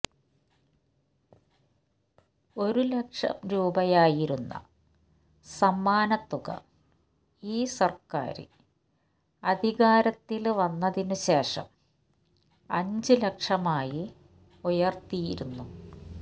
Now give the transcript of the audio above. ഒരു ലക്ഷം രൂപയായിരുന്ന സമ്മാനത്തുക ഈ സര്ക്കാര് അധികാരത്തില് വന്നതിനുശേഷം അഞ്ചു ലക്ഷമായി ഉയര്ത്തിയിരുന്നു